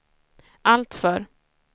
alltför